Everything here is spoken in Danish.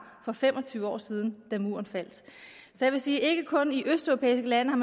for fem og tyve år siden da muren faldt så jeg vil sige at man ikke kun i østeuropæiske lande